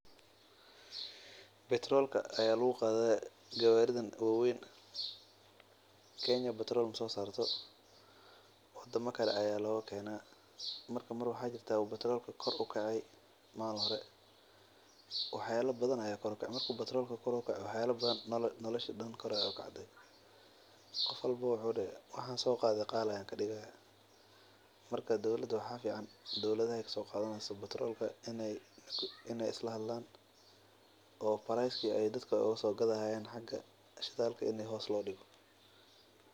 Batroolka ayaa lagu qaada garidan wa weyn kenya lagama qodo wadana kale ayaa laga keena marka malin hore wuu kacay wax kasta wuu kacaa.